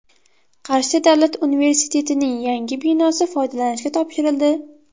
Qarshi davlat universitetining yangi binosi foydalanishga topshirildi.